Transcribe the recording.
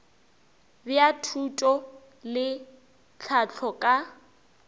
bja thuto le tlhahlo ka